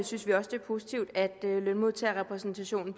synes vi også det er positivt at lønmodtagerrepræsentationen